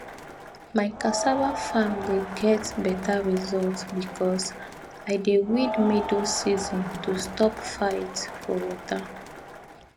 my cassava farm dey get better result because i dey weed middle season to stop fight for water